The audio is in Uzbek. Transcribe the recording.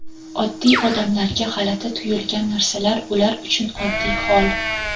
oddiy odamlarga g‘alati tuyulgan narsalar ular uchun oddiy hol.